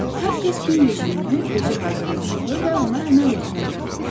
Hər kəs gün rejimini özü hazırlamalı və ona əməl etməlidir.